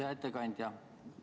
Hea ettekandja!